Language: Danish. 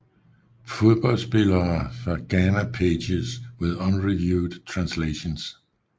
Fodboldspillere fra Ghana Pages with unreviewed translations